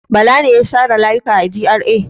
Bala ne ya share layuka a GRA.